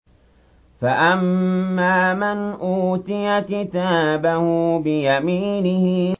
فَأَمَّا مَنْ أُوتِيَ كِتَابَهُ بِيَمِينِهِ